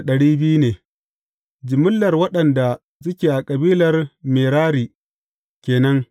Jimillar waɗanda suke na kabilar Merari ke nan.